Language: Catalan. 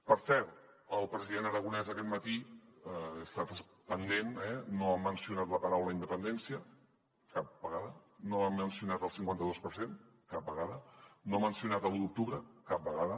per cert el president aragonès aquest matí n’he estat pendent no ha mencionat la paraula independència cap vegada no ha mencionat el cinquanta dos per cent cap vegada no ha mencionat l’u d’octubre cap vegada